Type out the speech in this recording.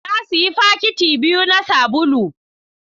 Na sayi fakiti biyu na sabulu.